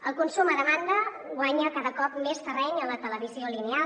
el consum a demanda guanya cada cop més terreny a la televisió lineal